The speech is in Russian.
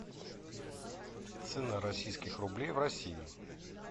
цена российских рублей в россии